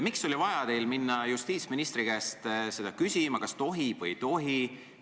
Miks oli teil vaja minna justiitsministri käest küsima, kas tohib või ei tohi.